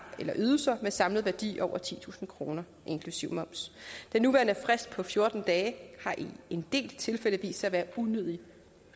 eller ydelser med en samlet værdi over titusind kroner inklusive moms den nuværende frist på fjorten dage har i en del tilfælde vist sig at være unødig